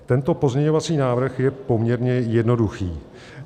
Tento pozměňovací návrh je poměrně jednoduchý.